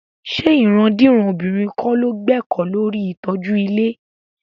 Ṣé ìrandíran obìnrin kọ́ ló gbẹ́kọ̀ọ́ lórí ìtọ́jú ilé?